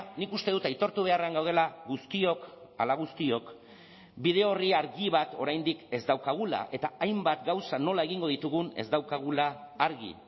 nik uste dut aitortu beharrean gaudela guztiok ala guztiok bide orri argi bat oraindik ez daukagula eta hainbat gauza nola egingo ditugun ez daukagula argi